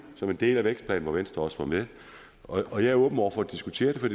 som en del af vækstplanen hvor venstre også var med og jeg er åben over for at diskutere det for